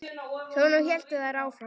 Svona héldu þær áfram.